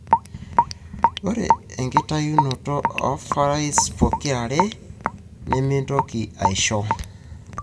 ore tenikintayuni ovaries pokirare, nemintoki aisho,